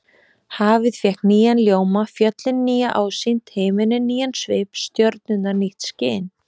Hafið fékk nýjan ljóma, fjöllin nýja ásýnd, himinninn nýjan svip, stjörnurnar nýtt skin.